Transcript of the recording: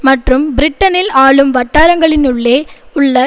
மற்றும் பிரிட்டனில் ஆளும் வட்டாரங்களினுள்ளே உள்ள